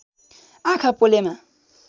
आँखा पोलेमा